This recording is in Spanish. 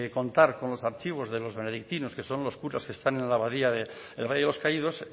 contar con los archivos de los benedictinos que son los curas que están en la abadía del valle de los caídos